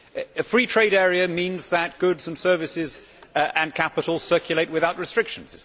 A free trade area means that goods and services and capital circulate without restrictions.